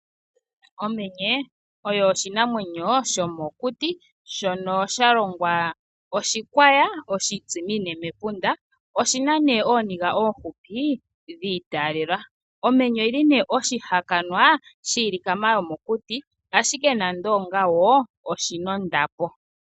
Omenye oyo oshinamwenyo shomokuti. Shono sha longwa oshikwaya oshitsimine mepunda. Oshina nee ooniga oohupi dhi itaalela. Omenye oyili nee oshihakanwa shiinamwenyo yomokuti ashike nande onga wo oshina ondapo.